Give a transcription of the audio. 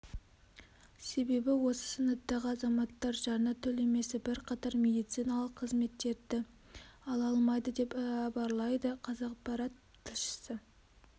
себебі осы санаттағы азаматтар жарна төлемесе бірқатар медициналық қызметтерді ала алмайды деп іабарлайды қазақпарат тілшісі